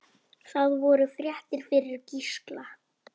Það voru fréttir fyrir Gísla.